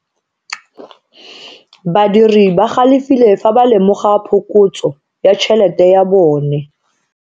Badiri ba galefile fa ba lemoga phokotso ya tšhelete ya bone.